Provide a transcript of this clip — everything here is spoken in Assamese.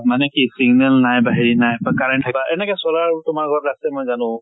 মানে কি signal নাই বা হেৰি নাই বা current থকা এনেকে solar তোমাৰ ঘৰত আছে মই জানো।